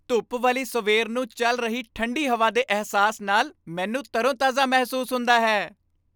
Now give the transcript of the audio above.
ਧੁੱਪ ਵਾਲੀ ਸਵੇਰ ਨੂੰ ਚੱਲ ਰਹੀ ਠੰਢੀ ਹਵਾ ਦੇ ਅਹਿਸਾਸ ਨਾਲ ਮੈਨੂੰ ਤਰੋ ਤਾਜ਼ਾ ਮਹਿਸੂਸ ਹੁੰਦਾ ਹੈ